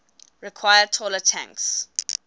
require taller tanks